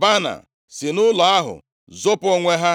Baana si nʼụlọ ahụ zopu onwe ha.